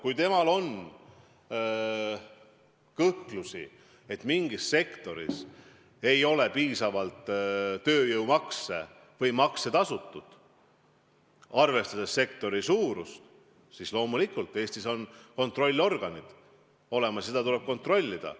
Kui tal on kartusi, et mingis sektoris ei ole piisavalt tööjõumakse tasutud, siis Eestis on kontrollorganid olemas ja seda tuleb kontrollida.